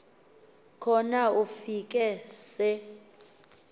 khona ufike se